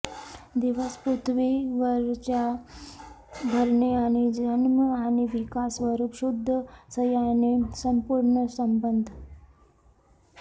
दिवस पृथ्वीवर च्या भरणे आणि जन्म आणि विकास स्वरूप शुद्ध सैन्याने संपूर्ण संबद्ध